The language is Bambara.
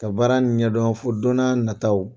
Ka baara nin ɲɛdɔn fo don n'a nata la